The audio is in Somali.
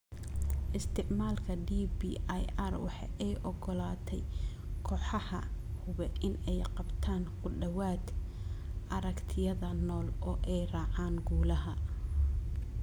Isticmaalka DBIR waxa ay u ogolaatay kooxaha hube in ay qabtaan ku dhawaad ??aragtiyaha nool oo ay raacaan guulaha